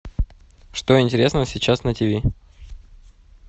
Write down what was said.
что интересного сейчас на тв